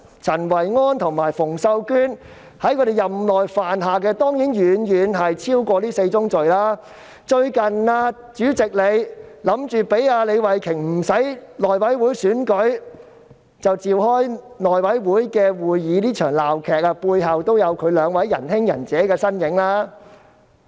陳維安和馮秀娟二人在其任內犯下的當然遠遠超過這4宗罪，主席最近意圖讓李慧琼議員無須經內務委員會選舉而可自行召開內務委員會會議，這場鬧劇背後也有這兩位"仁兄"、"仁姐"的身影。